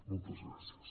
moltes gràcies